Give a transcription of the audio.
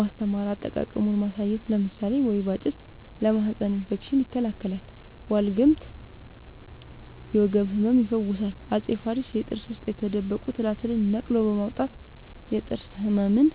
ማስተማር አጠቃቀሙን ማሳየት ለምሳሌ ወይባ ጭስ ለማህፀን እፌክሽን ይከላከላል ዋልግምት የወገብ ህመም ይፈውሳል አፄ ፋሪስ የጥርስ ውስጥ የተደበቁ ትላትልን ነቅሎ በማውጣት የጥርስ ህመምን